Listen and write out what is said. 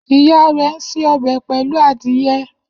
Iya re n se ọbẹ pelu adiye.